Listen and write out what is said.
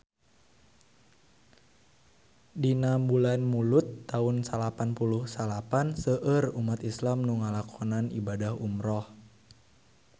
Dina bulan Mulud taun salapan puluh salapan seueur umat islam nu ngalakonan ibadah umrah